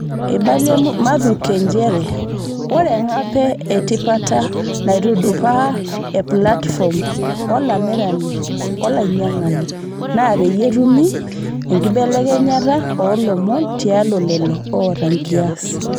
Eibalia Mathuke njeree oree eng'ape etipata naitudupaa eplatifom olamirani-olainyiangani naapeyie etumi nkibelekenyata oolomon tialo leloo oota enkias.